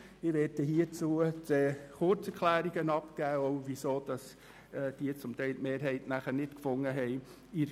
Ich werde dazu kurze Erklärungen abgeben und zum Beispiel auch erklären, weshalb sie in der GSoK keine Mehrheit gefunden haben.